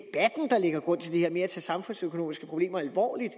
at det her med at tage samfundsøkonomiske problemer alvorligt